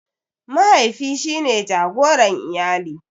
Mahaifi shine jagoran iyali.